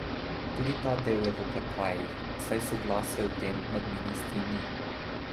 Tudi ta del je v oklepajih, saj soglasja o tem med ministri ni.